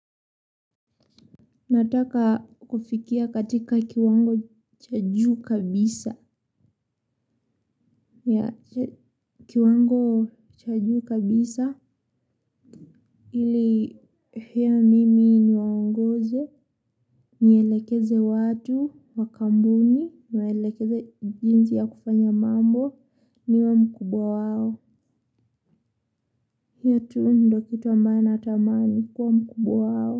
Nataka kufikia katika kiwango cha juu kabisa. Yeah, kiwango cha juu kabisa. Ili, pia mimi niwaongoze. Nielekeze watu, wa kampuni, niwaelekeze jinsi ya kufanya mambo, niwe mkubwa wao. Hio tu ndio kitu ambayo natamani, kuwa mkubwa wao.